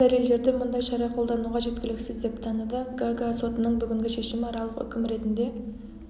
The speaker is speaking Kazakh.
ұсынған дәлелдерді мұндай шара қолдануға жеткіліксіз деп таныды гаага сотының бүгінгі шешімі аралық үкім ретінде